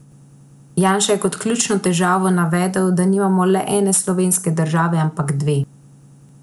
Janša je kot ključno težavo navedel, da nimamo le ene slovenske države, ampak dve.